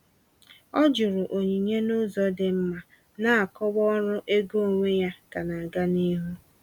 Ọ jụrụ onyinye n’ụzọ dị mma, na-akọwa ọrụ ego onwe ya ka na-aga n’ihu.